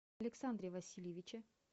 александре васильевиче